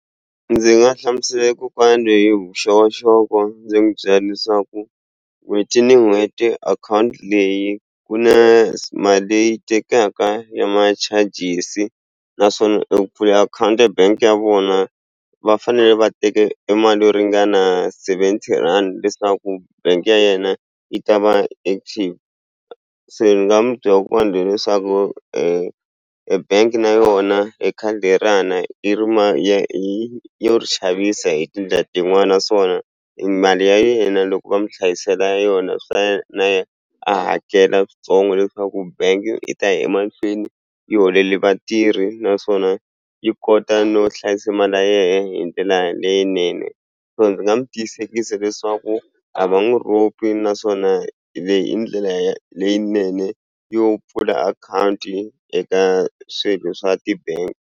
Ndzi nga hlamusela kokwana lweyi hi vuxokoxoko ndzi mu byela leswaku n'hweti ni n'hweti akhawunti leyi ku na mali leyi tekaka ya ma-charhes-i naswona eku pfula akhawunti ya bank-i ya vona va fanele va teke emali yo ringana seventy rhandi leswaku bank-i ya yena yi ta va active se ni nga mu byela leswaku e bank na yona hi khadi le ra na yi ri hi yo xavisa hi tindlela tin'wani naswona mali ya yena loko va mu hlayisela yona swi ta na ye a hakela switsongo leswaku bank i ta ya emahlweni yi holele vatirhi naswona yi kota no hlayisa mali ya yehe hi ndlela leyinene so ndzi nga mu tiyisekisa leswaku a va n'wi ropi naswon leyi i ndlela leyinene yo pfula akhawunti eka swilo swa ti-bank.